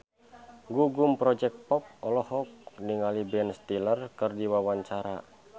Gugum Project Pop olohok ningali Ben Stiller keur diwawancara